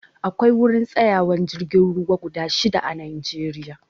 Akwai wurin tsayawan jirgin ruwa guda shida a najeriya